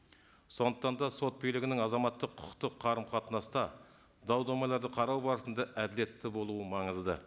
сондықтан да сот билігінің азаматтық құқықтық қарым қатынаста дау дамайларды қарау барысында әділетті болуы маңызды